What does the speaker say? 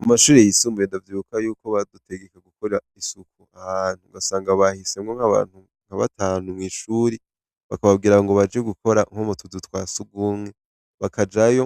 Mu mashuri yisumbuye ndavyuka yuko badutegeka gukora isuku ahantu gasanga bahisemwo nk'abantu nkabatanu mw'ishuri bakababwira ngo baji gukora nk'o mutuzu twa sugumwe bakajayo